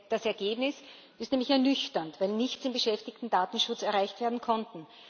Das Ergebnis ist nämlich ernüchternd, weil nichts im Beschäftigten Datenschutz erreicht werden konnte.